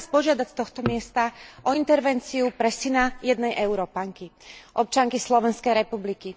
Chcem Vás požiadať z tohto miesta o intervenciu pre syna jednej Európanky, občianky Slovenskej republiky.